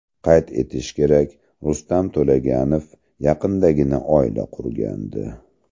Qayd etish kerak, Rustam To‘laganov yaqindagina oila qurgandi .